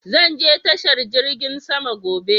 Zan je tashar jirgin sama gobe.